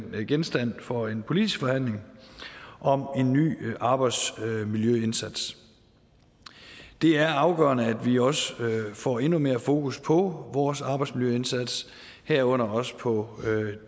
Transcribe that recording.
være genstand for en politisk forhandling om en ny arbejdsmiljøindsats det er afgørende at vi også får endnu mere fokus på vores arbejdsmiljøindsats herunder også på